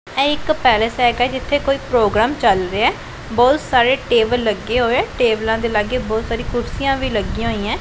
ਇਹ ਇੱਕ ਪੈਲਸ ਹੈਗਾ ਜਿੱਥੇ ਕੋਈ ਪ੍ਰੋਗਰਾਮ ਚੱਲ ਰਿਹਾ। ਬਹੁਤ ਸਾਰੇ ਟੇਬਲ ਲੱਗੇ ਹੋਏ ਟੇਬਲਾਂ ਦੇ ਲਾਗੇ ਬਹੁਤ ਸਾਰੀ ਕੁਰਸੀਆਂ ਵੀ ਲੱਗੀਆਂ ਹੋਈਆਂ।